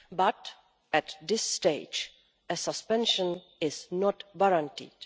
But, at this stage, a suspension is not warranted.